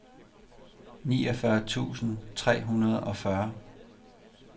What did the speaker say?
niogfyrre tusind tre hundrede og fyrre